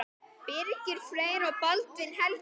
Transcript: Birgir Freyr og Baldvin Helgi.